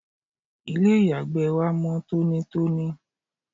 ilé ìyàgbẹ́ wa mọ́ tónítóní